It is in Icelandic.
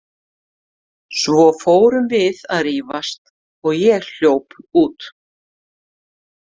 Svo fórum við að rífast og ég hljóp út.